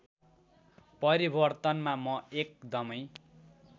परिवर्तनमा म एकदमै